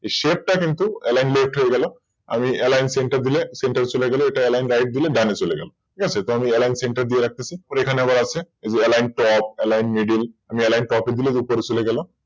এই Shape টা কিন্তু Left হয়ে গেল এই Alline center এ দিলে Center চলে গেল Alline right ডিলিট ডান দিকে চলে গেল। আমি তো এবার Alline center দিয়ে রাখতেছি এখানে আবার আছে এই যে Alline top align middle আমি Alline top এ দিলে ওপরে চলে গেল